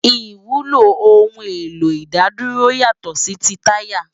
Iwúló óoun éló idádúró yátò si ti tàyá